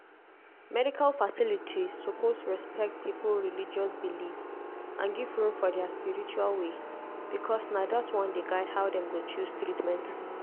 medical facilities suppose respect people religious belief and give room for their spiritual way because na that one dey guide how dem go choose treatment